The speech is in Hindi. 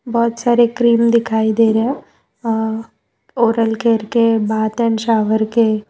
बहोत सारे क्रीम दिखाई दे रहे है अ ओरल केयर के बाथ एंड शॉवर के --